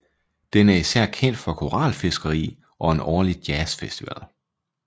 Den er især kendt for koralfiskeri og en årlig jazz festival